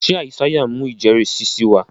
ṣe Isaiah ń mú ijẹrisi sí wá?